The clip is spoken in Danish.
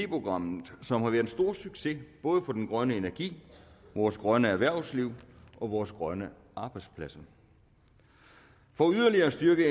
programmet som har været en stor succes både for den grønne energi vores grønne erhvervsliv og vores grønne arbejdspladser for yderligere at styrke